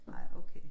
Nej okay